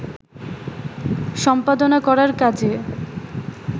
সম্পাদনা করার কাজে